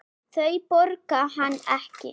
Þau borga hann ekki.